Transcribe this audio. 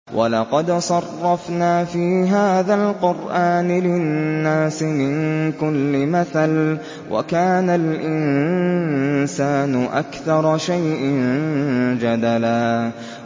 وَلَقَدْ صَرَّفْنَا فِي هَٰذَا الْقُرْآنِ لِلنَّاسِ مِن كُلِّ مَثَلٍ ۚ وَكَانَ الْإِنسَانُ أَكْثَرَ شَيْءٍ جَدَلًا